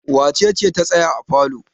Wace ce ta tsaya a falo?